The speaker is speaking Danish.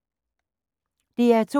DR2